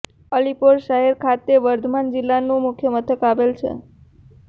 અલીપોર શહેર ખાતે વર્ધમાન જિલ્લાનું મુખ્ય મથક આવેલું છે